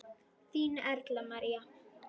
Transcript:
Þín Erla María.